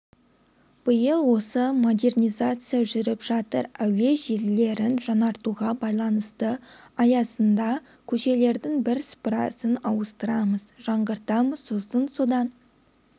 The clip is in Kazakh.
биыл осы модернизация жүріп жатыр әуе желілерін жаңыртуға байланысты аясында көшелердің бірсыпырасын ауыстырамыз жаңғыртамыз сосын содан